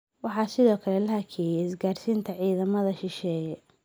Waxaa sidoo kale la hakiyay isgaarsiinta ciidamada shisheeye.